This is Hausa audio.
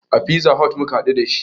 A fiza hot muka haɗu dashi